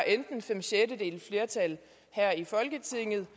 fem sjettedeles flertal her i folketinget